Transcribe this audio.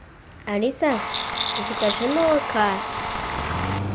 алиса закажи молока